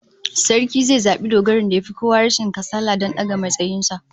Sarki zai zabi dogarin da yafi kowa rashin kasala don daga matsayin sa